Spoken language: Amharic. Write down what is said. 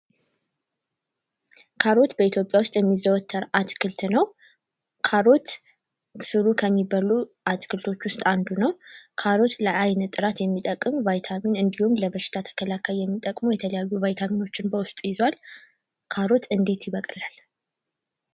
ካሮት በኢትዮጵያ ዉስጥ የሚዘወተር አትክልት ነው። ካሮት ስሩ ከሚበሉ አትክልት ዉስጥ አንዱ ነው። ካሮት ለአይን ጥራት የሚጠቅም ቫይታሚን እንዲሁም ለበሽታ ተከላካይ የሚጠቅሙ የተለያዩ ቫይታሚኖችን በዉስጡ ይዟል። ካሮት እንዴት ይበቅላል?